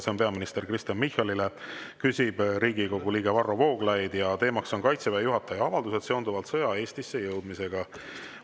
See on peaminister Kristen Michalile, küsib Riigikogu liige Varro Vooglaid ja teema on Kaitseväe juhataja avaldused seonduvalt sõja Eestisse jõudmisega.